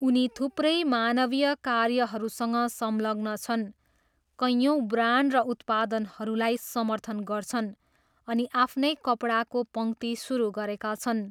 उनी थुप्रै मानवीय कार्यहरूसँग संलग्न छन्, कयौँ ब्रान्ड र उत्पादनहरूलाई समर्थन गर्छन् अनि आफ्नै कपडाको पङ्क्ति सुरु गरेका छन्।